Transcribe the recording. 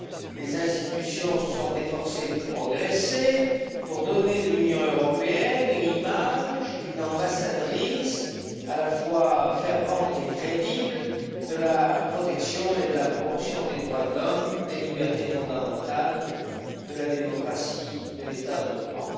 les institutions se sont efforcées de progresser, pour donner de l'Union européenne l'image d'une ambassadrice, à la fois fervente et crédible, de la protection et de la promotion des droits de l'homme, des libertés fondamentales, de la démocratie, de l'état de droit.